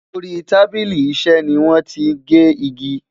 Orí tábìlì iṣé ní wọn tí gé ìgi